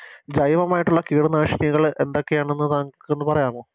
ജൈവമായിട്ടുള്ള കീടനാശിനികള് എന്തൊക്കെയാണെന്ന് താങ്കൾക്കൊന്ന് പറയാമോ